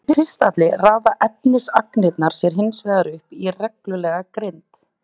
Í kristalli raða efnisagnirnar sér hinsvegar upp í reglulega grind.